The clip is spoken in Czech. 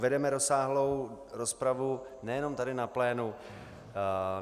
Vedeme rozsáhlou rozpravu nejenom tady na plénu.